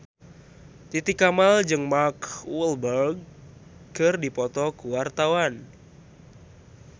Titi Kamal jeung Mark Walberg keur dipoto ku wartawan